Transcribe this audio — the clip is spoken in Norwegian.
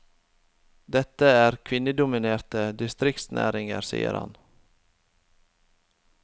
Dette er kvinnedominerte distriktsnæringer, sier han.